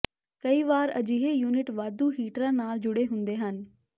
ਕਈ ਵਾਰ ਅਜਿਹੇ ਯੂਨਿਟ ਵਾਧੂ ਹੀਟਰਾਂ ਨਾਲ ਜੁੜੇ ਹੁੰਦੇ ਹਨ